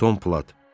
Tom Platt.